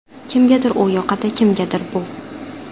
Kimgadir u yoqadi, kimgadir bu.